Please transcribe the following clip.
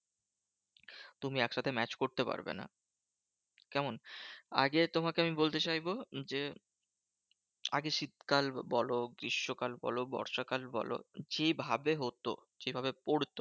তুমি একসাথে match করতে পারবে না। কেমন? আগে তোমাকে আমি বলতে চাইবো যে, আগে শীতকাল বোলো, গ্রীষ্মকাল বোলো, বর্ষাকাল বোলো, যেভাবে হতো যেভাবে পড়তো